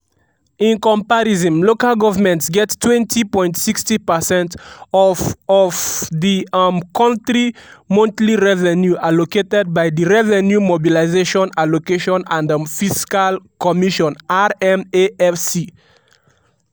in comparison lgs get 20.60 percent of of di um kontri monthly revenue allocated by di revenue mobilisation allocation and um fiscal commission (rmafc)